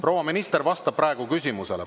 Proua minister vastab praegu küsimusele.